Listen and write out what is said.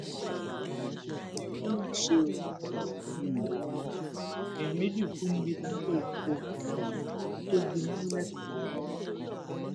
ó mà ṣe o um èèyàn méjì kú níbi táǹkà epo um tó gbiná lẹkọọ